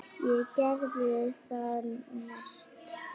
Ég geri það næst.